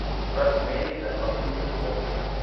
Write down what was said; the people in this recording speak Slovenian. Kar pomeni, da ima ključ od sobe.